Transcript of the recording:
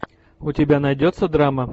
у тебя найдется драма